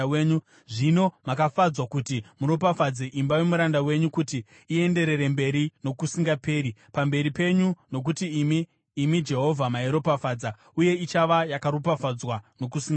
Zvino makafadzwa kuti muropafadze imba yomuranda wenyu kuti ienderere mberi nokusingaperi pamberi penyu, nokuti imi, imi Jehovha, mairopafadza uye ichava yakaropafadzwa nokusingaperi.”